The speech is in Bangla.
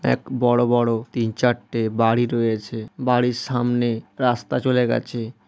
এক বড় বড় তিন চারটে বাড়ি রয়েছে। বাড়ির সামনে রাস্তা চলে গেছে।